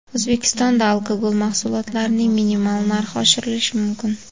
O‘zbekistonda alkogol mahsulotlarining minimal narxi oshirilishi mumkin.